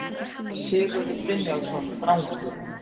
Sigurður Brynjólfsson Drangur